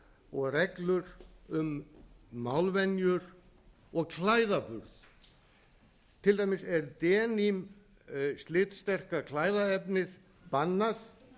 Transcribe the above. og reglur um málvenjur og klæðaburð til dæmis er denim slitsterka klæðaefnið bannað